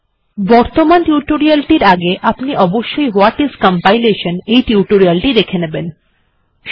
এবার নিম্নবর্ণিত সূচীটির প্রথন বিভাগের দিকে লক্ষ্য করা যাক অর্থাৎ কম্পাইলেশান কি তা জেনে নেওয়া যাক